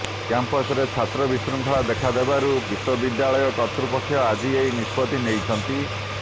କ୍ୟାମ୍ପସରେ ଛାତ୍ର ବିଶୃଙ୍ଖଳା ଦେଖା ଦେବାରୁ ବିଶ୍ୱବିଦ୍ୟାଳୟ କର୍ତ୍ତୃପକ୍ଷ ଆଜି ଏହି ନିଷ୍ପତ୍ତି ନେଇଛନ୍ତି